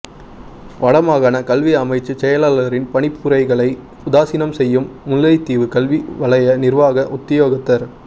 வடமாகாண கல்வி அமைச்சுச் செயலாளரின் பணிப்புரைகளை உதாசீனம் செய்யும் முல்லைத்தீவு கல்வி வலய நிர்வாக உத்தியோகத்தர்